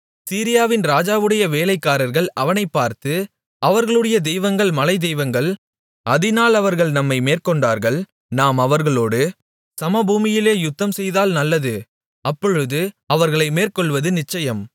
சீரியாவின் ராஜாவுடைய வேலைக்காரர்கள் அவனைப் பார்த்து அவர்களுடைய தெய்வங்கள் மலைத்தெய்வங்கள் அதினால் அவர்கள் நம்மை மேற்கொண்டார்கள் நாம் அவர்களோடு சமபூமியிலே யுத்தம்செய்தால் நல்லது அப்பொழுது அவர்களை மேற்கொள்வது நிச்சயம்